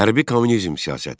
Hərbi kommunizm siyasəti.